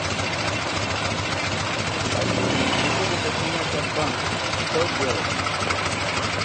афина не приходит смс от банка что делать